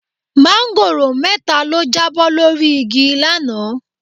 Máńgòrò mẹ́ta ló jábọ́ lórí igi lánàá.